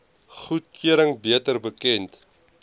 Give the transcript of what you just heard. goedkeuring beter bekend